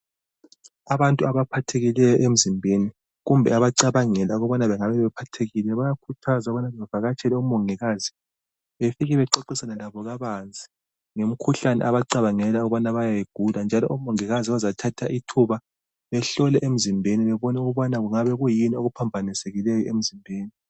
Abantu abaphathekileyo emzimbeni kumbe abacabangela ukuba bengabe bephathekile bayakhuthazwa ukubana bevakatshele omongikazi befike bexoxisane labo kabanzi ngemikhuhlane abacabangela ukubana bayayigula njalo omongikazi bazathatha ithuba behlole emzimbeni bebone ukuba kungabe kuyini okuphambanisekileyo emzimbeni